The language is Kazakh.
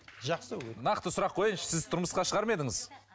нақты сұрақ қояйыншы сіз тұрмысқа шығар ма едіңіз